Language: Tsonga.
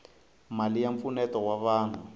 mali ya mpfuneto wa vanhu